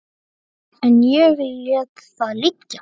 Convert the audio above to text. En ég lét það liggja.